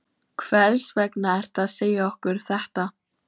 Hvers vegna ertu að segja okkur þetta?